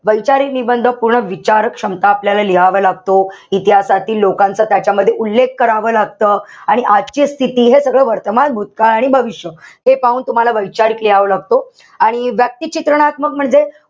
वैचारिक निबंध पूर्ण विचार क्षमता आपल्याला लिहावा लागतो. इतिहासातील लोकांचा त्याच्यामध्ये उल्लेख करावं लागत. आणि आजची स्थिती हे सगळं वर्तमान, भूतकाळ आणि भविष्य ते पाहून तुम्हाला वैचारिक लिहावा लागतो. आणि व्यक्तिचित्रणात्मक म्हणजे,